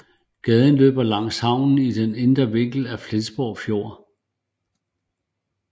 Gaden løber langs havnen i den indre vinkel af Flensborg Fjord